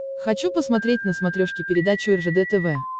хочу посмотреть на смотрешке передачу ржд тв